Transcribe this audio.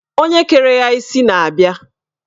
Onye kere ya isi na-abia